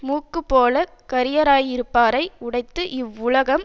மூக்குப் போலக் கரியராயிருப்பாரை உடைத்து இவ்வுலகம்